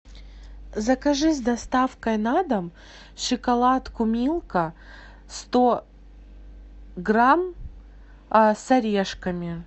закажи с доставкой на дом шоколадку милка сто грамм с орешками